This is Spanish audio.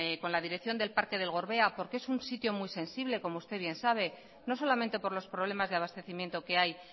con la dirección del parque del gorbea porque es un sitio muy sensible como usted bien sabe no solamente por los problemas de abastecimiento que hay